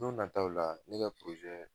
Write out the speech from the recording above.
Don nataw la ne ka